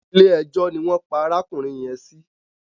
Ilé ẹjọ́ ni wọ́n pa arákùnrin yẹn sí.